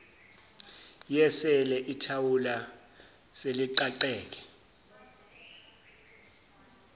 yesele ithawula seliqaqeke